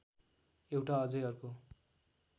एउटा अझै अर्को